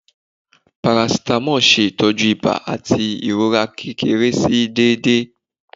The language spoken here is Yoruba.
Paracetamol ṣe itọju iba ati irora kekere si dede